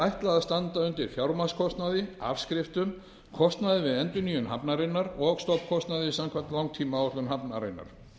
ætlað að standa undir fjármagnskostnaði afskriftum kostnaði við endurnýjun hafnarinnar og stofnkostnaði samkvæmt langtímaáætlun hafnarinnar